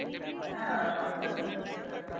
হ্যাঁ বাকি সব ঠিকই আছে।